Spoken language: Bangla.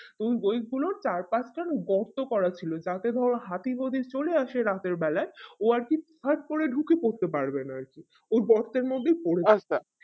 এই web গুলো চার পাঁচ গর্ত করা ছিল যাতে ধরো হাতি যদি চলে আসে রাত্র বেলায় ও আরকি ফোট করে ঢুকে পড়তে পারবে না আরকি ওই গর্তের মধ্যে পরে যাবে